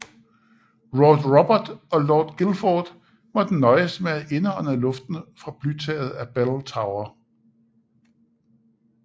Lord Robert og Lord Guildford måtte nøjes med at indånde luften fra blytaget af Bell Tower